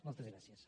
moltes gràcies